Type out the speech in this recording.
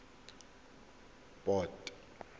port